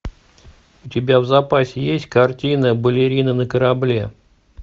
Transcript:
у тебя в запасе есть картина балерина на корабле